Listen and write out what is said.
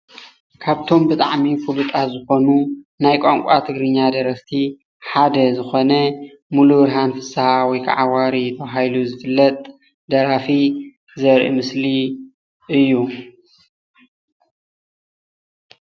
ካብቶም ብጣዕሚ ፍልጣት ዝኮኑ ናይ ቋንቋ ትግርኛ ደረፍቲ ሓደ ዝኮነ ሙሉብርሃን ፍስሃ ወይ ከዓ ዋሪ ተባሂሉ ዝፍለጥ ደራፊ ዘርኢ ምስሊ እዩ፡፡